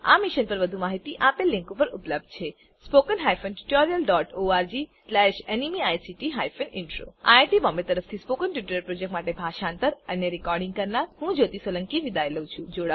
આ મિશન પર વધુ માહીતી આપેલ લીંક પર ઉપલબ્ધ છેspoken tutorialorgNMEICT Intro iit બોમ્બે તરફથી સ્પોકન ટ્યુટોરીયલ પ્રોજેક્ટ માટે ભાષાંતર કરનાર હું જ્યોતી સોલંકી વિદાય લઉં છું